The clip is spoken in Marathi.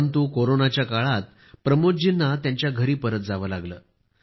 परंतु कोरोनना काळात प्रमोद जी यांना त्यांच्या घरी परत जावे लागले